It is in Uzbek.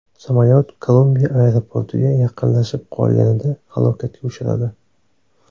Samolyot Kolumbiya aeroportiga yaqinlashib qolganida halokatga uchradi.